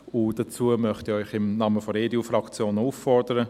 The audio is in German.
Und dazu möchte ich Sie im Namen der EDU-Fraktion auch auffordern.